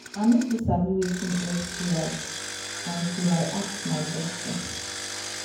i no too sabi watin sti until i ask my doctor